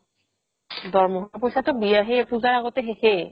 দৰমাহৰ পইচাটো বিয়া~ সেই পুজাৰ আগতে শেষে